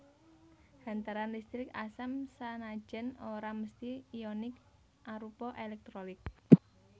Hantaran listrik asam sanajan ora mesthi ionik arupa èlèktrolit